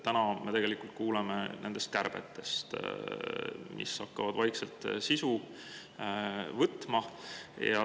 Täna me kuuleme nendest kärbetest, mille sisu hakkab vaikselt võtma.